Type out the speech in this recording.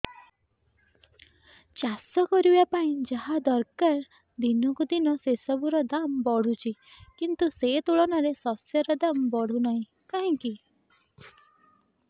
ଚାଷ କରିବା ପାଇଁ ଯାହା ଦରକାର ଦିନକୁ ଦିନ ସେସବୁ ର ଦାମ୍ ବଢୁଛି କିନ୍ତୁ ସେ ତୁଳନାରେ ଶସ୍ୟର ଦାମ୍ ବଢୁନାହିଁ କାହିଁକି